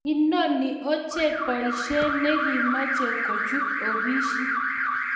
Inoni oche beshe nekimeche kochut ofisit.